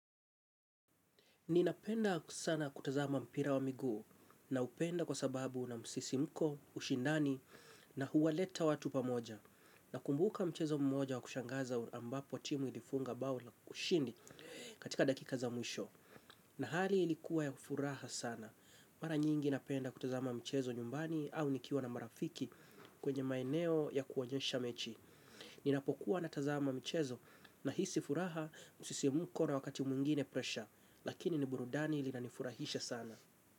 Ninapenda sana kutazama mpira wa miguu naupenda kwa sababu una msisimko, ushindani na huwaleta watu pamoja nakumbuka mchezo mmoja wa kushangaza ambapo timu ilifunga bao la ushindi katika dakika za mwisho. Na hali ilikuwa ya furaha sana, mara nyingi napenda kutazama mchezo nyumbani au nikiwa na marafiki kwenye maeneo ya kuonyesha mechi. Ninapokuwa natazama mchezo nahisi furaha musisimuko na wakati mwingine presha, lakini ni burudani ilinanifurahisha sana.